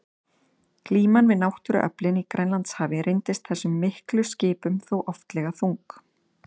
Glíman við náttúruöflin í Grænlandshafi reyndist þessum miklu skipum þó oftlega þung.